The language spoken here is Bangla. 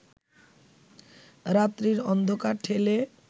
রাত্রির অন্ধকার ঠেলে